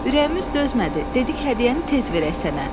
Ürəyimiz dözmədi, dedi ki, hədiyyəni tez verək sənə.